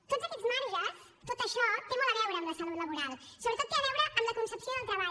tots aquests marges tot això té molt a veure amb la salut laboral sobretot té a veure amb la concepció del treball